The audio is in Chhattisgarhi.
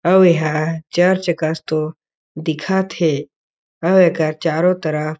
आउ एह चर्च कस तो दिखत हे आउ एकर चारो तरफ --